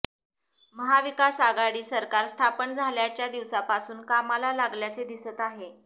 महाविकास आघाडी सरकार स्थापन झाल्याच्या दिवसापासून कामाला लागल्याचे दिसत आहे